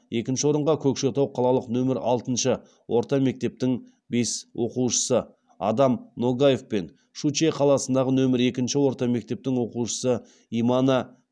екінші орынға көкшетау қалалық нөмір алтыншы орта мектептің бес оқушысы адам ногаев пен щучье қаласындағы нөмір екінші орта мектептің оқушысы имана